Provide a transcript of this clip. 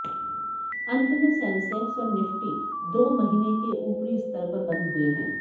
अंत में सेंसेक्स और निफ्टी दो महीन के ऊपरी स्तर पर बंद हुए है